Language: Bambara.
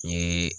N ye